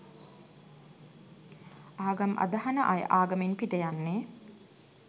ආගම් අදහන අය ආගමින් පිට යන්නේ